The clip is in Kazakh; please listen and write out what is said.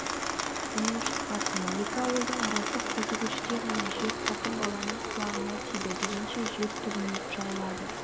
үнің шықпасын екі ауылдың арасы қозы көштей ғана жер қатын-баланың құлағына тиді дегенше жер түбіне жайылады